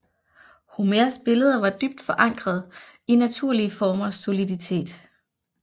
Homers billeder var dybt forankret i naturlige formers soliditet